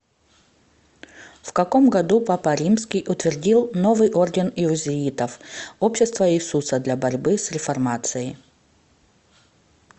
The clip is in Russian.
в каком году папа римский утвердил новый орден иезуитов общество иисуса для борьбы с реформацией